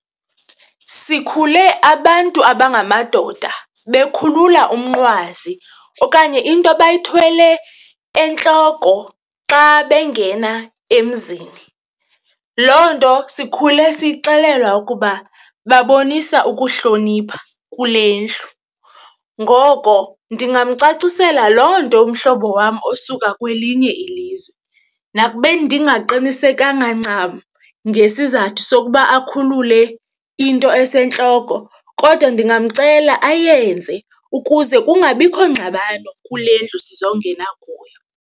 Sikhule abantu abangamadoda bekhulula umnqwazi okanye into abayithwele entloko xa bengena emzini, loo nto sikhule sixelelwa ukuba babonisa ukuhlonipha kule ndlu. Ngoko ndingamcacisela loo nto umhlobo wam osuka kwelinye ilizwe. Nakubeni ndingaqinisekanga ncam ngesizathu sokuba akhulule into esentloko kodwa ndingamcela ayenze ukuze kungabikho ngxabano kule ndlu sizongena kuyo.